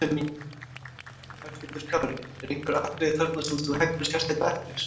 Höskuldur Kári: Eru einhver atriði þarna sem þú heggur sérstaklega eftir?